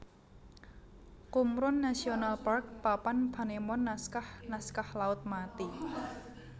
Qumran National Park Papan panemon Naskah naskah Laut Mati